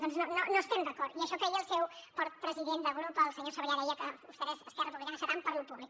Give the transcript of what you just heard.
doncs no estem d’acord i això que ahir el seu president de grup el senyor sabrià deia que vostès esquerra republicana estan tant per lo públic